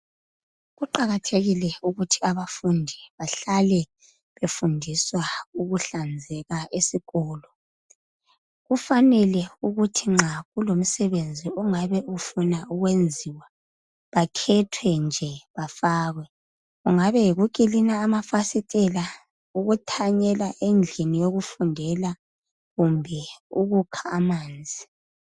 Kuqakathekile ukuthi abafundi bahlale befundiswa ukuhlanzeka esikolo . Kufanele ukuthi nxa kulomsebenzi. ongabe ufuna ukwenziwa bakhethwe nje bafake. Kungaba yikukilina amafasitela ukuthanyela endlini yokufundela kumbe ukukha amanzi.